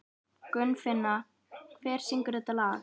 Gunnfinna, hver syngur þetta lag?